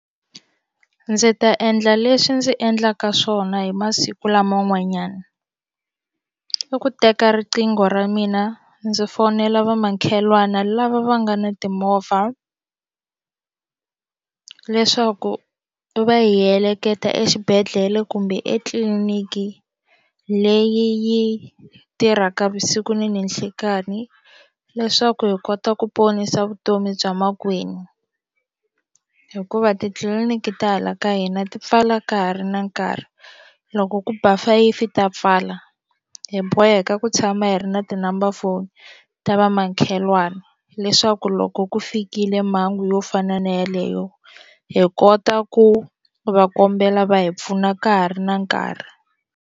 Ndzi ta endla leswi ndzi endlaka swona hi masiku lama n'wanyana i ku teka riqingho ra mina ndzi fonela va makhelwani lava va nga na timovha leswaku va hi heleketa exibedhlele kumbe etliniki leyi tirhaka vusiku na nanhlikani leswaku hi kota ku ponisa vutomi bya makwenu hikuva titliliniki ta hala ka hina ti pfala ka ha ri na nkarhi loko ku ba fayifi ta pfala hi boheka ku tshama hi ri na ti-number foni ta va makhelwani leswaku loko ku fikile mhangu yo fana na yeleyo hi kota ku va kombela va hi pfuna ka ha ri na nkarhi.